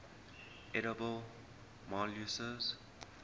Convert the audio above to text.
edible molluscs